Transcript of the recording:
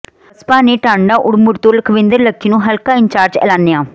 ਬਸਪਾ ਨੇ ਟਾਂਡਾ ਉੜਮੁੜ ਤੋਂ ਲੱਖਵਿੰਦਰ ਲੱਖੀ ਨੂੰ ਹਲਕਾ ਇੰਚਾਰਜ ਐਲਾਨਿਆ